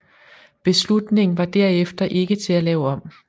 Beslutningen var derefter ikke til at lave om